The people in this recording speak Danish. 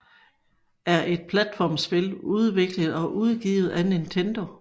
er et platformspil udviklet og udgivet af Nintendo